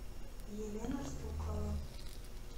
елена стукова